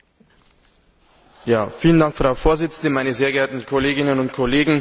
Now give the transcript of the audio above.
Frau Präsidentin, meine sehr geehrten Kolleginnen und Kollegen!